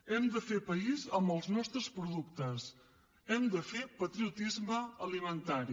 hem de fer país amb els nostres productes hem de fer patriotisme alimentari